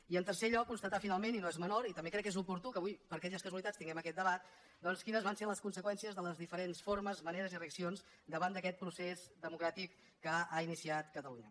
i en tercer lloc constatar finalment i no és menor i també crec que és oportú que avui per aquelles casualitats tinguem aquest debat doncs quines van ser les conseqüències de les diferents formes maneres i reaccions davant d’aquest procés democràtic que ha iniciat catalunya